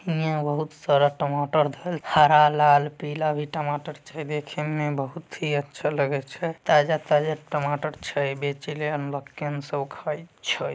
यहाँ बहुत सारा टमाटर हरा लाल पीला भी टमाटर छै। देखे में बहुत ही अच्छा लगे छै । ताजा-ताजा टमाटर छै बेचेले छै।